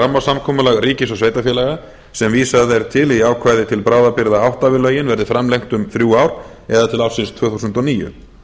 rammasamkomulag ríkis og sveitarfélaga sem vísað er til í ákvæði til bráðabirgða átta við lögin verði framlengt um þrjú ár eða til ársins tvö þúsund og níu